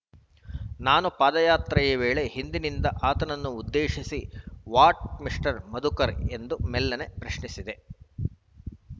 ನಾನು ಪಾದಯಾತ್ರೆ ವೇಳೆ ಹಿಂದಿನಿಂದ ಆತನನ್ನು ಉದ್ದೇಶಿಸಿ ವ್ಹಾಟ್‌ ಮಿಸ್ಟರ್‌ ಮಧುಕರ್‌ ಎಂದು ಮೆಲ್ಲನೆ ಪ್ರಶ್ನಿಸಿದ್ದೆ